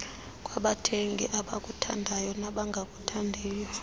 kwabathengi abakuthandayo nabangakuthandiyo